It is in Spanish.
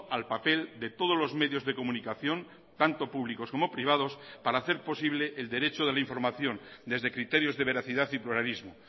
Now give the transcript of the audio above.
al papel de todos los medios de comunicación tanto públicos como privados para hacer posible el derecho de la información desde criterios de veracidad y pluralismo